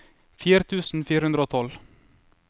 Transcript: fire tusen fire hundre og tolv